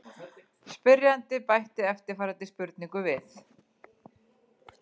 Spyrjandi bætti eftirfarandi spurningu við: